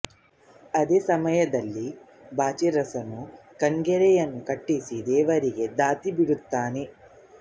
ಅದೆ ಸಮಯದಲ್ಲಿ ಬಾಚರಸನು ಕಂನ್ನೆಗರೆಯನ್ನು ಕಟ್ಟಿಸಿ ದೇವರಿಗೆ ದತ್ತಿ ಬಿಡುತ್ತಾನೆ